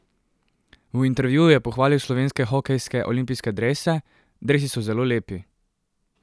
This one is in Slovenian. V intervjuju je pohvalil slovenske hokejske olimpijske drese: "Dresi so zelo lepi.